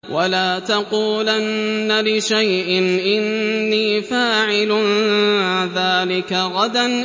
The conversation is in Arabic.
وَلَا تَقُولَنَّ لِشَيْءٍ إِنِّي فَاعِلٌ ذَٰلِكَ غَدًا